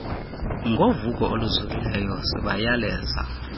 ngovuko oluzukileyo sibayaleza